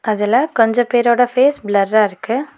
அதுல கொஞ்ச பேரோட ஃபேஸ் பிளர்ரா இருக்கு.